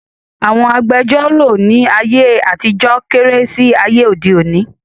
Àwọn agbẹjọ́rọ̀ ní ayé àtijọ́ kéré sí ayé òde òni